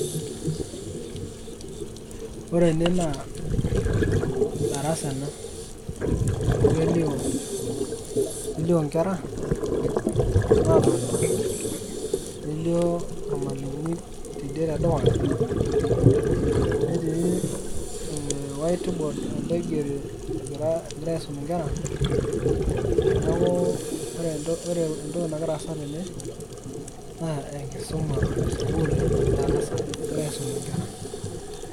Ore ene naa darasa ena. Amu kelio kelio nkera natonta, nelio ormalimui tidie tedukuya. Netii eh white board naigeri egirai aisum inkera, neeku ore entoki nagira aasa tene, naa enkisuma sukuul ena, egirai aisum inkera.